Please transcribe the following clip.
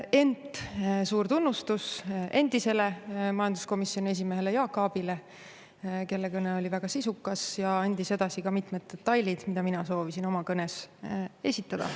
Ent suur tunnustus endisele majanduskomisjoni esimehele Jaak Aabile, kelle kõne oli väga sisukas ja andis edasi ka mitmed detailid, mida mina soovisin oma kõnes esitada.